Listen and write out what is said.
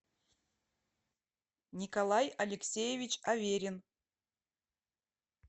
николай алексеевич аверин